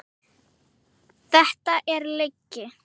Þetta er lygi.